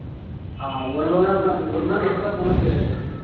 ஆஹ் ஒரு மணி நேரம் ஒரு மணி நேரம் எப்படித்தான் போகும்னே தெரியாது